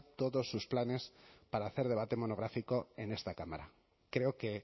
todos sus planes para hacer debate monográfico en esta cámara creo que